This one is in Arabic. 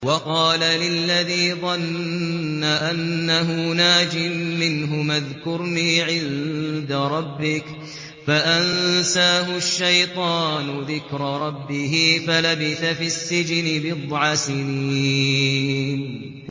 وَقَالَ لِلَّذِي ظَنَّ أَنَّهُ نَاجٍ مِّنْهُمَا اذْكُرْنِي عِندَ رَبِّكَ فَأَنسَاهُ الشَّيْطَانُ ذِكْرَ رَبِّهِ فَلَبِثَ فِي السِّجْنِ بِضْعَ سِنِينَ